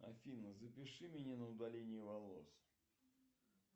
афина запиши меня на удаление волос